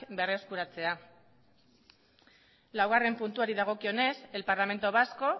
berreskuratzea laugarrena puntuari dagokionez el parlamento vasco